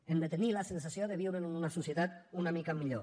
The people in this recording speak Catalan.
hem de tenir la sensació de viure en una societat una mica millor